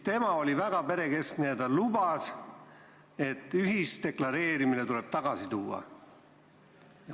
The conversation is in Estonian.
Tema oli väga perekeskne ja lubas, et ühisdeklareerimine tuleb tagasi tuua.